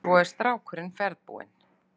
Svo er strákurinn ferðbúinn.